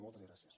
moltes gràcies